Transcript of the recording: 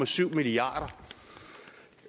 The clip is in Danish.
syv milliard